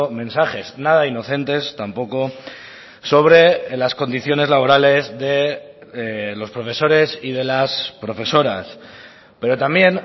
mensajes nada inocentes tampoco sobre las condiciones laborales de los profesores y de las profesoras pero también